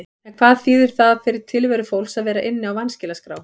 En hvað þýðir það fyrir tilveru fólks að vera inni á vanskilaskrá?